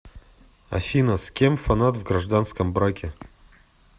афина с кем фанат в гражданском браке